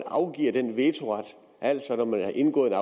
afgiver den vetoret altså at når man har indgået